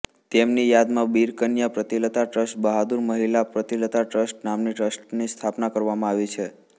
તેમની યાદમાં બિરકન્યા પ્રીતિલતા ટ્રસ્ટ બહાદુર મહિલા પ્રીતિલતા ટ્રસ્ટ નામના ટ્રસ્ટની સ્થાપના કરવામાં આવી છે